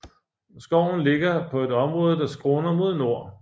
Skoven ligger på et område der skråner mod nord